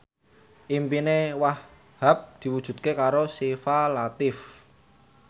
impine Wahhab diwujudke karo Syifa Latief